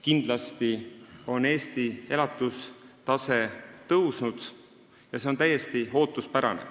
Kindlasti on Eestis elatustase tõusnud ja see on täiesti ootuspärane.